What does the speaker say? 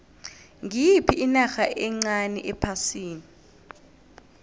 ngiyiphi inarha encani ephasini